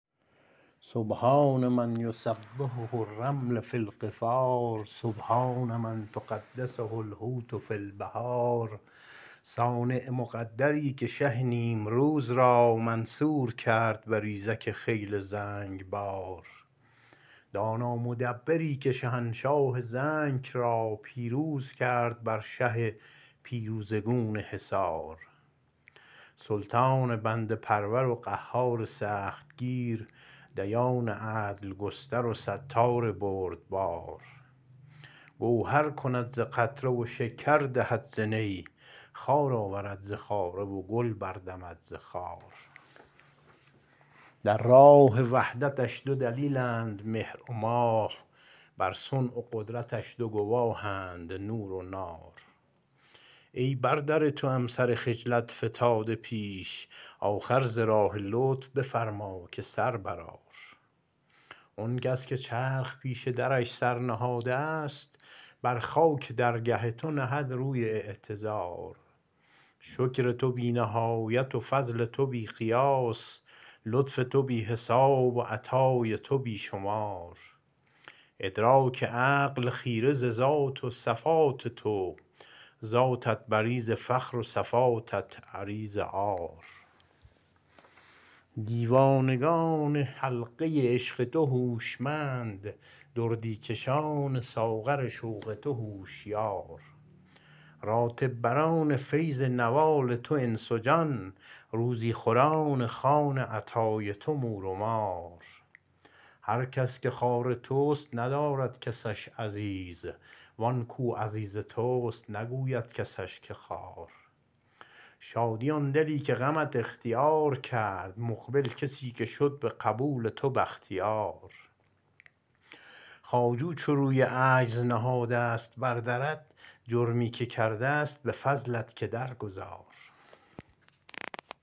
سبحان من یسبحه الرمل فی القفار سبحان من تقدسه الحوت فی البحار صانع مقدری که شه نیمروز را منصور کرد بریزک خیل زنگبار دانا مدبری که شهنشاه زنک را پیروز کرد بر شه پیروزه گون حصار سلطان بنده پرور و قهار سختگیر دیان عدل گستر و ستار بردبار گوهر کند ز قطره و شکر دهد زنی خار آورد ز خاره و گل بردمد ز خار در راه وحدتش دو دلیلند مهر و ماه بر صنع و قدرتش دو گواهند نور و نار ای بر در توام سر خجلت فتاده پیش آخر ز راه لطف بفرما که سر برآر آن کس که چرخ پیش درش سر نهاده است بر خاک درگه تو نهد روی اعتذار شکر تو بی نهایت و فضل تو بی قیاس لطف تو بی حساب و عطای تو بی شمار ادراک عقل خیره ز ذات و صفات تو ذاتت بری ز فخر و صفاتت عری ز عار دیوانگان حلقه عشق تو هوشمند دردی کشان ساغر شوق تو هوشیار راتب بران فیض نوال تو انس و جان روزی خوران خوان عطای تو مور و مار هر کس که خوار توست ندارد کسش عزیز وان کو عزیز توست نگوید کسش که خوار شادی آن دلی که غمت اختیار کرد مقبل کسی که شد به قبول تو بختیار خواجو چو روی عجز نهادست بر درت جرمی که کرده است به فضلت که درگذار